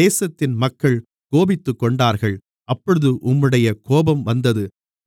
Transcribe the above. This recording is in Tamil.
தேசத்தின் மக்கள் கோபித்துக்கொண்டார்கள் அப்பொழுது உம்முடைய கோபம் வந்தது